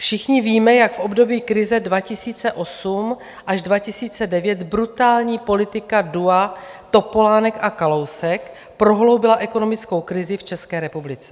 Všichni víme, jak v období krize 2008 až 2009 brutální politika dua Topolánek a Kalousek prohloubila ekonomickou krizi v České republice.